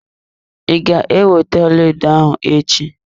I ga ewete ọlaedo ahụ echi?